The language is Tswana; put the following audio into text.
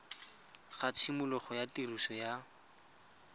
ga tshimologo ya tiriso ya